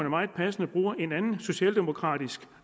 meget passende bruge en anden socialdemokratisk